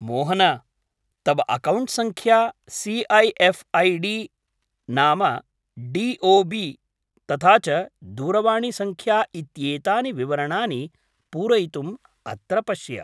मोहन, तव अकौण्ट् सङ्ख्या, C A F ID, नाम, डी ओ बी, तथा च दूरवाणीसङ्ख्या इत्येतानि विवरणानि पूरयितुम् अत्र पश्य।